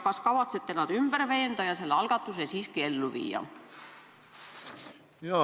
Ja kas kavatsete nad ümber veenda ja selle algatuse siiski ellu viia?